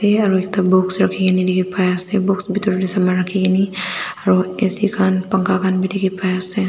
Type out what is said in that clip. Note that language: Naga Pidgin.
ya aru ek ta box rakhini dekhi paiase box bhitorteh saman rakhikini aru ac khan pankha khai dekhi paiase.